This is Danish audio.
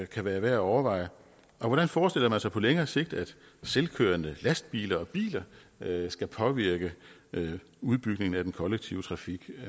kan være værd at overveje og hvordan forestiller man sig på længere sigt at selvkørende lastbiler og biler skal påvirke udbygningen af den kollektive trafik